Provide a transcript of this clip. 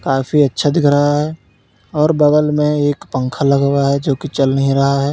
काफी अच्छा दिख रहा है और बगल में एक पंखा लगा हुआ है जोकि चल नहीं रहा है।